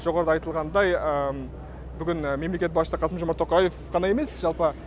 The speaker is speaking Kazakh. жоғарыда айтылғандай бүгін мемлекет басшысы қасым жомарт тоқаев ғана емес жалпы